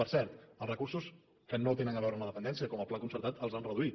per cert els recursos que no tenen a veure amb la dependència com el pla concertat els han reduït